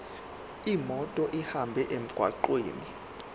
imoto ihambe emgwaqweni